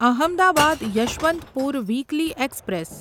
Ahmedabad Yesvantpur weekly express